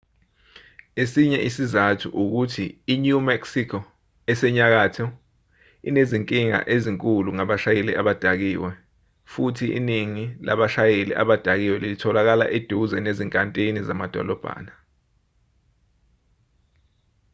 esinye isizathu ukuthi i-new mexico esenyakatho inezinkinga ezinkulu ngabashayeli abadakiwe futhi iningi labashayeli abadakiwe litholakala eduze nezinkantini zamadolobhana